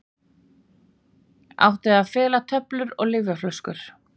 Átti að fela töflur og lyfjaflöskur